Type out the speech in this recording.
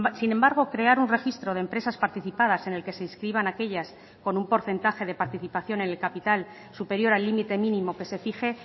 sin embargo crear un registro de empresas participadas en el que se inscriban aquellas con un porcentaje de participación en el capital superior al límite mínimo que se fije